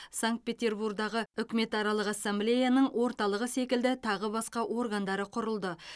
санкт петербургтағы үкіметаралық ассамблеяның орталығы секілді тағы басқа органдары құрылды